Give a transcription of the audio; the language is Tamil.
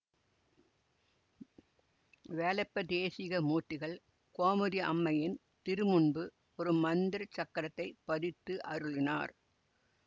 வேலப்ப தேசிக மூர்த்திகள் கோமதி அம்மையின் திருமுன்பு ஒரு மந்திரச் சக்கரத்தைப் பதித்தருளினார்